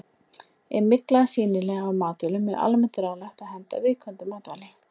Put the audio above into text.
Ef mygla er sýnileg á matvælum er almennt ráðlagt að henda viðkomandi matvæli.